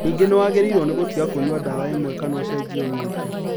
Ningĩ nĩwagĩrĩirwo nĩ gũtiga kũnyua ndawa imwe kana ũcenjie ũnyue ĩngĩ